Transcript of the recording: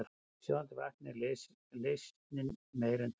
Í sjóðandi vatni er leysnin meira en tvöföld.